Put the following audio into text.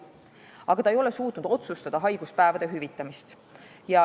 Aga ta ei ole suutnud otsustada haiguspäevade hüvitamist.